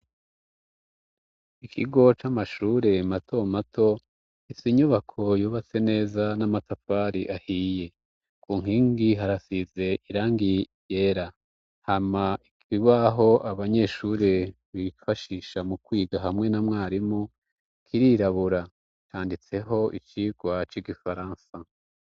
Ikigo c'amashure mato mato gifisi inyubako yubatse neza n'amatafari ahiye. Ku nkingi harasize irangi ryera, hama ikibaho abanyeshuri bifashisha mu kwiga hamwe na mwarimu, kirirabura canditseho icigwa c'igifaransa.